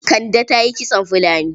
Kande ta yi kitson fulani.